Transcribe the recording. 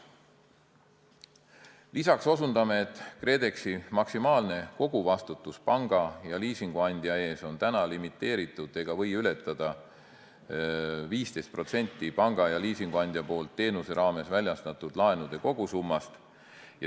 Lisaks osutame, et KredExi maksimaalne koguvastutus panga ja liisinguandja ees on limiteeritud ega või ületada 15% panga ja liisinguandja poolt teenuse raames väljastatud laenude kogusummast.